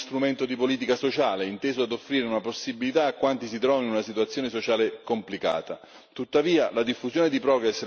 Il microcredito è anche uno strumento di politica sociale, inteso ad offrire una possibilità a quanti si trovano in una situazione sociale complicata.